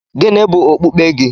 Gịnị bụ okpukpe gị?